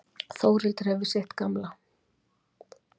Þórhildur hefur sitt gamla.